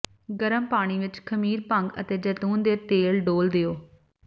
ਗਰਮ ਪਾਣੀ ਵਿੱਚ ਖਮੀਰ ਭੰਗ ਅਤੇ ਜੈਤੂਨ ਦੇ ਤੇਲ ਡੋਲ੍ਹ ਦਿਓ